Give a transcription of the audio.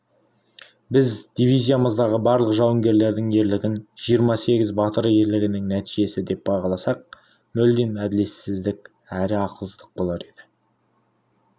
біз дивизиямыздағы барлық жауынгерлердің ерлігін жиырма сегіз батыр ерлігінің нәтижесі деп бағаласақ мүлдем әділетсіздік әрі ақылсыздық болар еді